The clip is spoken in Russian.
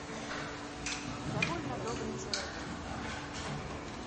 довольно добрый человек